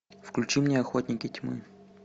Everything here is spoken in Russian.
включи мне охотники тьмы